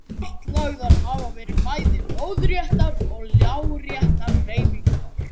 Kortlagðar hafa verið bæði lóðréttar og láréttar hreyfingar.